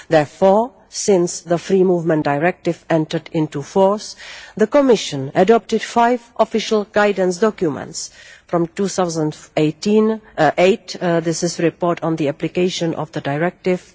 Therefore, since the Free Movement Directive entered into force, the Commission adopted five official guidance documents in 2008, the report on the application of the Directive